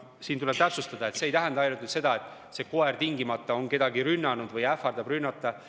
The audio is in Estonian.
Siin tuleb täpsustada, et see ei tähenda ainult seda, et mõni koer tingimata on kedagi rünnanud või üritanud rünnata.